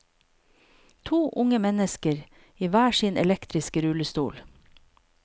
To unge mennesker i hver sin elektriske rullestol.